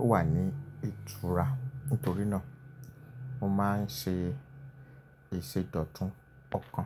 ó wà ní ìtura nítorí náà, mo máa ń ṣe ìsèdọ̀tún ọkọ̀.